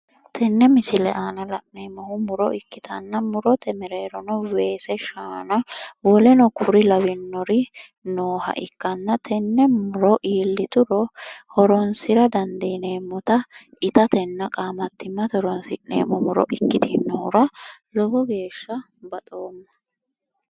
Tenne misile aana la'neemmohu muro ikkitanna, murote mereerono weese shaana woleno kuri lawinori nooha ikkanna tenne muro iillituro horoonisira dandiineemmota itatenna qaamattimmate horoonsi'neemmo muro ikkitinohura lowo geeshsha baxoomma.